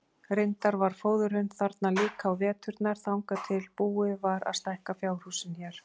Reyndar var fóðrun þarna líka á veturna þangað til búið var að stækka fjárhúsin hér.